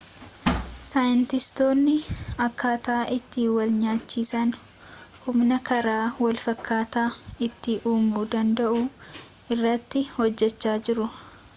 saayinstistootni akkataa itti wal-nyaachisaan humna karaa wal fakkataan itti uumuu danda'u irratti hojjechaa jiru